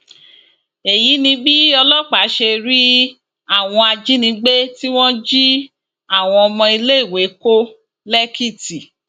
èyí ni bí ọlọpàá ṣe rí àwọn ajínigbé tí wọn jí àwọn ọmọ iléèwé kó lẹkìtì